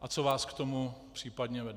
a co vás k tomu případně vede.